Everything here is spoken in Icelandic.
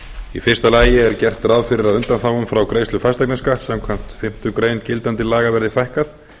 í fyrsta lagi er gert ráð fyrir að undanþágum frá greiðslu fasteignaskatts samkvæmt fimmtu grein gildandi laga verði fækkað